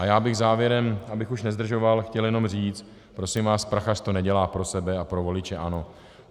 A já bych závěrem, abych už nezdržoval, chtěl jenom říct: Prosím vás, Prachař to nedělá pro sebe a pro voliče ANO.